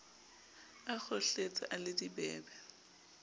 a kgohletse a le dibebe